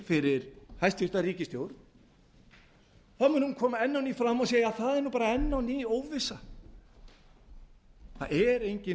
fyrir hæstvirt ríkisstjórn mun hún koma enn á ný fram og segja það er nú bara enn á ný óvissa það er engin